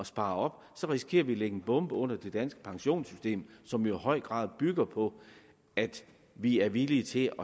spare op risikerer vi at lægge en bombe under det danske pensionssystem som jo i høj grad bygger på at vi er villige til